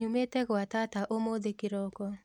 Nyumĩte gwa tata ũmũthĩ kĩroko